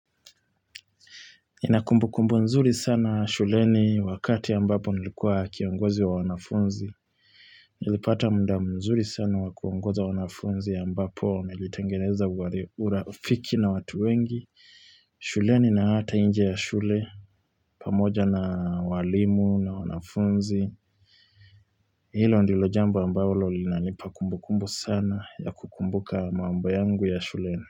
Inakumbukumbu nzuri sana shuleni wakati ambapo nilikuwa kiongozi wa wanafunzi. Nilipata mda mzuri sana wa kuongoza wanafunzi ambapo nilitengeneza uali urafiki na watu wengi. Shuleni na hata inje ya shule pamoja na walimu na wanafunzi Hilo ndilo jambo ambaolo linanipa kumbukumbu sana, ya kukumbuka mambo yangu ya shuleni.